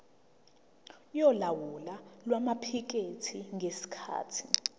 yolawulo lwamaphikethi ngesikhathi